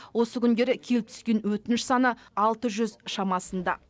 осы күндері келіп түскен өтініш саны алты жүз шамасында